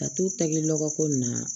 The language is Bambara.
Ka t'u tɛgɛ lɔgɔ ko nin na